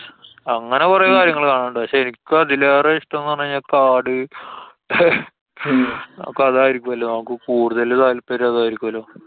അങ്ങനെ കൊറേ കാര്യങ്ങള് കാണാന്‍ ഇണ്ട്. പക്ഷെ എനിക്ക് അതിലേറെ ഇഷ്ട്ടം ന്നു പറഞ്ഞു കഴിഞ്ഞാല്‍ കാട് അപ്പൊ അതായിരിക്കൊല്ലോ? നമുക്ക് കൂടുതല് താല്‍പര്യം അതായിരിക്കല്ലോ.